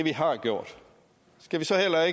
er